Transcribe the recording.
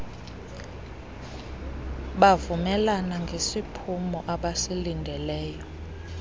bavumelana ngesiphumo abasilindeleyo